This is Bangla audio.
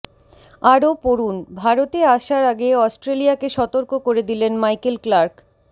আরও পড়ুন ভারতে আসার আগে অস্ট্রেলিয়াকে সতর্ক করে দিলেন মাইকেল ক্লার্ক